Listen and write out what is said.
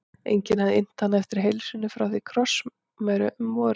Enginn hafði innt hana eftir heilsunni frá því á krossmessu um vorið.